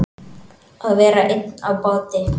Að vera einn á báti